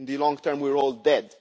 In the long term, we are all dead.